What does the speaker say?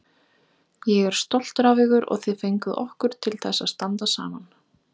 Ég er stoltur af ykkur og þið fenguð okkur til þess að standa saman.